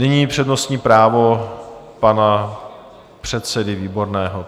Nyní přednostní právo pana předsedy Výborného.